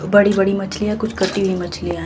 बड़ी-बड़ी मछलियां कुछ कटी हुई मछलियां --